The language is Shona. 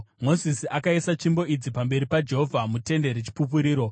Mozisi akaisa tsvimbo idzi pamberi paJehovha muTende reChipupuriro.